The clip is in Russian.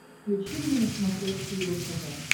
включи мне на смотрешке его тв